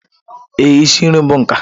Ee, isi nri bụ nka.